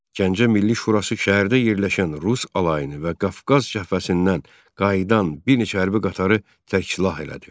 Gəncə Milli Şurası şəhərdə yerləşən rus alayını və Qafqaz cəbhəsindən qayıdan bir neçə hərbi qatarı tərksilah elədi.